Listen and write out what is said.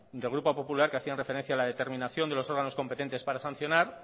del grupo popular que hacían referencia a la determinación de los órganos competentes para sancionar